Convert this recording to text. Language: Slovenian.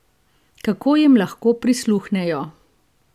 Kako jim lahko prisluhnejo?